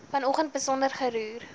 vanoggend besonder geroer